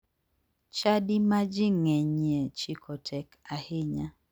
Chadi ma ji ng'enyie chiko tek ahinya.